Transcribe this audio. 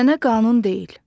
Ənənə qanun deyil.